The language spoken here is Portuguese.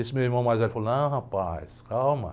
Esse meu irmão mais velho falou, não, rapaz, calma.